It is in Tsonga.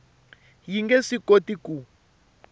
yi nge swi koti ku